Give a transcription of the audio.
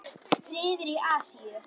Friður í Asíu.